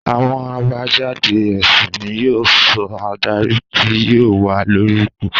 Àwọn àbájáde èsì ni yóò sọ adarí tí yóò wà lórí ipò